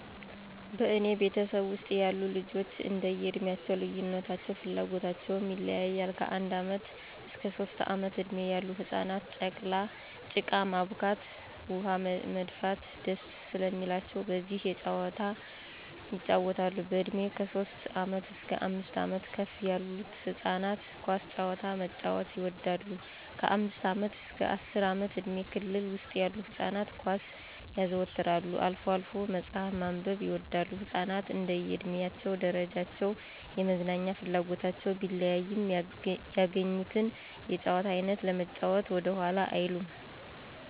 በእኔ ቤተሰብ ውስጥ ያሉ ልጆች እንደዬ እድሜ ልዩነታቸው ፍላጎታቸውም ይለያያል። ከአንድ ዓመት እስከ ሦስት ዓመት እድሜ ያሉ ህፃናት ጭቃ ማቡካት፣ ውኃ መድፋት ደስ ስለሚላቸው በዚህ የጫወታሉ፣ በእድሜ ከሦስት ዓመት እስከ አምስት ዓመት ከፍ ያሉት ህፃናት ኳስ ጨዋታ መጫዎት ይወዳሉ፣ ከአምስት ዓመት አስከ አስር ዓመት እድሜ ክልል ውስጥ ያሉ ህፃናት ኳስ ያዘወትራሉ፣ አልፎ አልፎ መጽሐፍ ማንበብም ይወዳሉ። ህፃናት እንደየ እድሜ ደረጃቸው የመዝናኛ ፍላጎታቸው ቢለያይም ያገኙትን የጨዋታ አይነት ለመጫዎት ወደኋላ አይሉም።